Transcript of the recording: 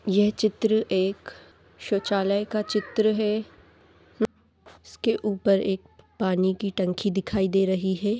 यह चित्र एक शौचालय का चित्र है उसके ऊपर एक पानी की टंकी दिखाई दे रही है।